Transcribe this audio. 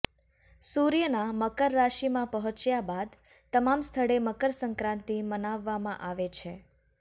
સૂર્યના મકર રાશિમાં પહોંચ્યા બાદ તમામ સ્થળે મકર સંક્રાંતિ મનાવવામાં આવે છે